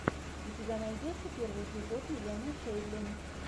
у тебя найдется первый эпизод елены шейдлин